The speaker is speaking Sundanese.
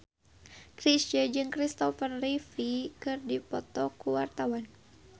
Chrisye jeung Christopher Reeve keur dipoto ku wartawan